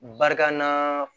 Barikana